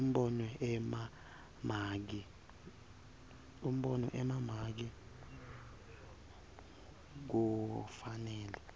umbono emamaki kufanele